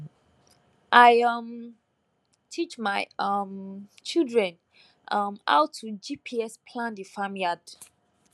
i um teach my um children um how to gps plan the farm yard